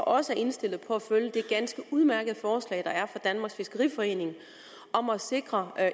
også er indstillet på at følge det ganske udmærkede forslag der er kommet fra danmarks fiskeriforening om at sikre